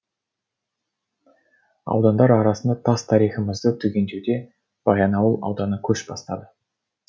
аудандар арасында тас тарихымызды түгендеуде баянауыл ауданы көш бастады